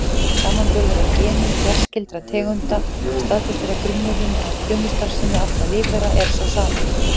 Samanburður á genum fjarskyldra tegunda staðfestir að grunnurinn að frumustarfsemi allra lífvera er sá sami.